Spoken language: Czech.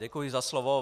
Děkuji za slovo.